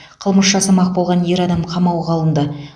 қылмыс жасамақ болған ер адам қамауға алынды